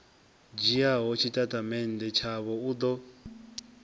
dzhiaho tshitatamennde tshavho u ḓo